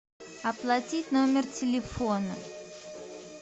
оплатить номер телефона